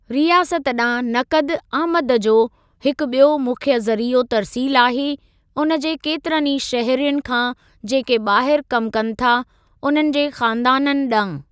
रियासत ॾांहुं नक़द आमद जो हिकु ॿियो मुख्य ज़रीओ तर्सील आहे, उन जे केतिरनि ई शहरियुनि खां जेके ॿाहिरि कमु कनि था, उन्हनि जे ख़ानदाननि ॾांहुं।